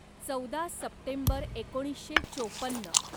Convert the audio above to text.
चौदा सप्टेंबर एकोणीसशे चोपन्न